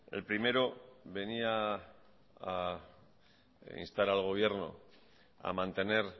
el primero venía a instar al gobierno a mantener